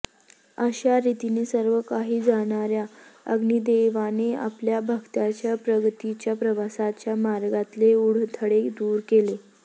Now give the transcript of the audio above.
अशारीतीने सर्वकाही जाणाऱ्या अग्निदेवाने आपल्या भक्तांच्या प्रगतीच्या प्रवासाच्या मार्गातले अडथळे दूर केले